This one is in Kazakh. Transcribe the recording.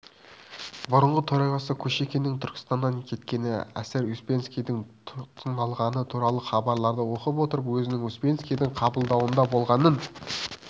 бұрынғы төрағасы кушекиннің түркістаннан кеткені эсэр успенскийдің тұтқындалғаны туралы хабарларды оқып отырып өзінің успенскийдің қабылдауында болғанын